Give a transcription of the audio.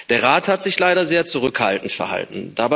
Der Rat hat sich leider sehr zurückhaltend verhalten.